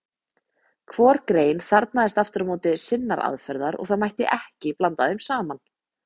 Hvor grein þarfnaðist aftur á móti sinnar aðferðar og það mætti ekki blanda þeim saman.